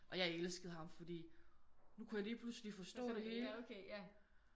Og jeg elskede ham fordi nu kunne jeg lige pludselig forstå det hele